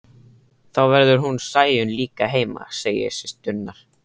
Þá verður hún Sæunn líka heima, segja systurnar.